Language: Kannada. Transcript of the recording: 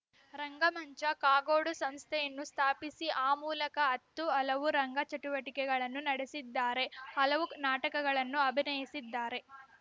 ರಂಗಮಂಚ ಕಾಗೋಡು ಸಂಸ್ಥೆಯನ್ನು ಸ್ಥಾಪಿಸಿ ಆ ಮೂಲಕ ಹತ್ತು ಹಲವು ರಂಗಚಟುವಟಿಕೆಗಳನ್ನು ನಡೆಸಿದ್ದಾರೆ ಹಲವು ನಾಟಕಗಳನ್ನು ಅಭಿನಯಿಸಿದ್ದಾರೆ